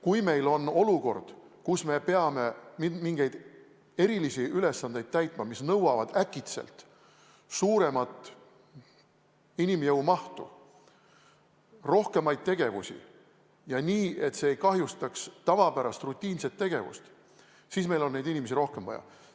Kui meil on olukord, kus me peame täitma mingeid erilisi ülesandeid, mis nõuavad äkitselt suuremat inimjõu mahtu, rohkemaid tegevusi, ja nii, et see ei kahjustaks tavapärast rutiinset tegevust, siis meil on neid inimesi vaja.